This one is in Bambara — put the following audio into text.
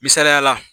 Misaliyala